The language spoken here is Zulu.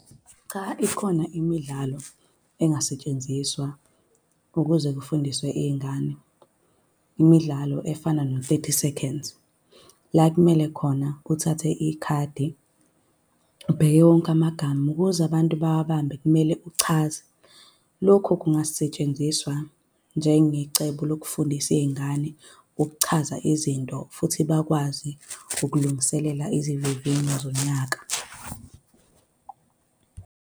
Cha, ikhona imidlalo engasetshenziswa ukuze kufundiswe iy'ngane, imidlalo efana no-Thirty Seconds, la ekumele khona uthathe ikhadi ubheke wonke amagama, ukuze abantu bawabambe kumele uchaze. Lokhu kungasetshenziswa njengecebo lokufundisa iy'ngane ukuchaza izinto futhi bakwazi ukulungiselela izivivinyo zonyaka.